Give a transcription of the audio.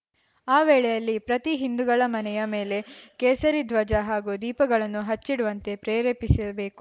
ಆ ವೇಳೆಯಲ್ಲಿ ಪ್ರತಿ ಹಿಂದೂಗಳ ಮನೆಯ ಮೇಲೆ ಕೇಸರಿ ಧ್ವಜ ಹಾಗೂ ದೀಪಗಳನ್ನು ಹಚ್ಚಿಡುವಂತೆ ಪ್ರೇರೇಪಿಸಬೇಕು